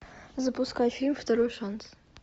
запускай фильм второй шанс